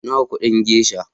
Nawa kudin gesha?